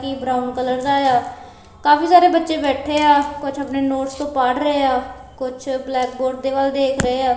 ਇਹ brown colour ਦਾ ਏ ਆ ਕਾਫੀ ਸਾਰੇ ਬੱਚੇ ਬੈਠੇ ਆ ਕੁਝ ਆਪਣੇ ਨੋਟਸ ਚੋਂ ਪੜ੍ਹ ਰਹੇ ਆ ਕੁਛ ਬਲੈਕ ਬੋਰਡ ਦੇ ਵੱਲ ਦੇਖ ਰਹੇ ਐ।